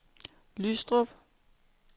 Lystrup